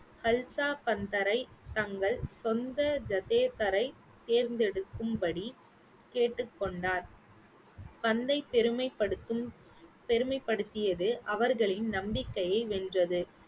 ஹல்சா பந்தரை தங்கள் சொந்த ஜதேதரை தேர்ந்தெடுக்கும் படி கேட்டுக்கொண்டார் பெருமைப்படுத்தும் பெருமைப்படுத்தியது அவர்களின் நம்பிக்கையை வென்றது.